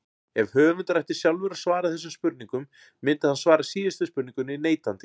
Ef höfundur ætti sjálfur að svara þessum spurningum myndi hann svara síðustu spurningunni neitandi.